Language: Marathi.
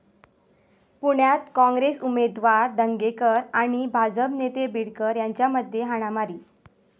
पुण्यात काँग्रेस उमेदवार धंगेकर आणि भाजप नेते बीडकर यांच्यामध्ये हाणामारी